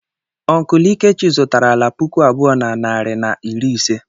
Uncle lkechi zụtara ala puku abụọ na narị na iri ise